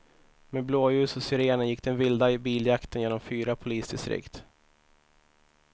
Med blåljus och sirener gick den vilda biljakten genom fyra polisdistrikt.